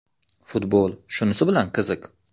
Futbol shunisi bilan qiziq.